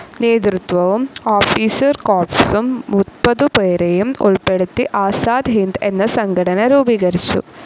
നേതൃത്വവും ഓഫീസർ കോർപ്സും മുപ്പതുപേരെയും ഉൾപ്പെടുത്തി ആസാദ് ഹിന്ദ്‌ എന്ന സംഘടന രൂപീകരിച്ചു.